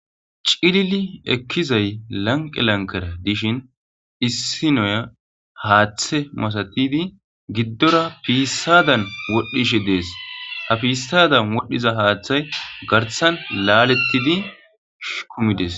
Cilili ekkizay lanqqe lankkere gishin issi noya haaththe masathidi giddora piissadan wodhdhishe dees;ha piissaadan wodhdhiza haaththay garssan laaleththidi kumi dees.